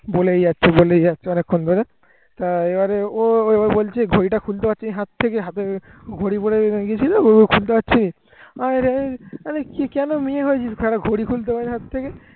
বলেই যাচ্ছে বলেই যাচ্ছে অনেকক্ষণ ধরে তাই এবারে ও বলছে ঘড়িটা খুলতে পারছি নি হাত থেকে। হাতে ঘড়ি পড়ে গিয়েছিল ঘড়িটা খুলতে পারছি নি আমি বললাম কেন মেয়ে হয়েছিস ঘড়িটা খুলতে পারছিস না হাত থেকে ।